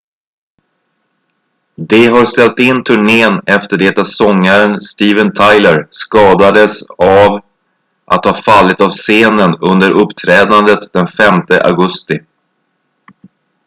de har ställt in turnén efter det att sångaren steven tyler skadades av att ha fallit av scenen under uppträdandet den 5 augusti